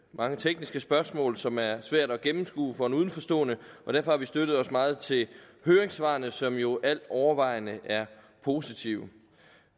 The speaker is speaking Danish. mange tekniske spørgsmål som er svære at gennemskue for en udenforstående og derfor har vi støttet os meget til høringssvarene som jo alt overvejende er positive